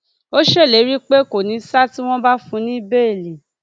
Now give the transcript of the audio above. ó ṣèlérí pé kò ní ṣa tí wọn bá fún un ní béèlì